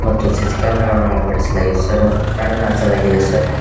ಮತ್ತು C C camera ವನ್ನು ಅಳವಡಿಸಲಾಗಿದೆ ಸರ್ ಕ್ಯಾಂಡಲ್ ಹಚ್ಚಲಾಗಿದೆ ಸರ್ .